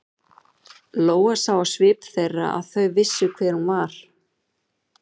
Lóa sá á svip þeirra að þau vissu hver hún var.